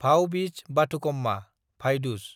Bhaubeej Bathukamma (Bhai Duzce)